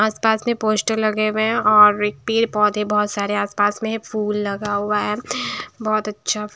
आसपास में पोस्टर लगे हुए हैं और एक पेड़ पौधे बहुत सारे आसपास में है फूल लगा हुआ है बहुत अच्छा।